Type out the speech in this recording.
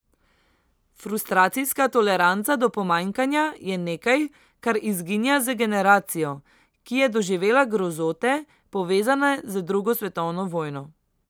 Frustracijska toleranca do pomanjkanja je nekaj, kar izginja z generacijo, ki je doživela grozote, povezane z drugo svetovno vojno.